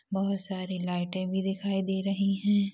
--बहुत सारे लाइटे भी दिखाई दे रही है।